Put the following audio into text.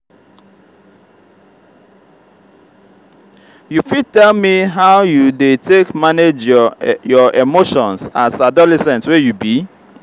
you fit tell me how you dey take manage your your emotions as adolescent wey you be?